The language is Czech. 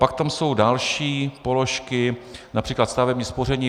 Pak tam jsou další položky, například stavební spoření.